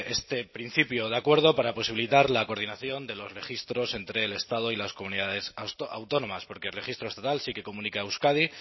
este principio de acuerdo para posibilitar la coordinación de los registros entre el estado y las comunidades autónomas porque el registro estatal sí que comunica a euskadi